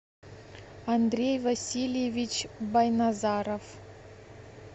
андрей васильевич байназаров